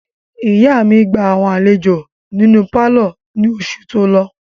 Ìyá mi gba àwọn àlejò nínú pálọ̀ ní oṣù tó lọ.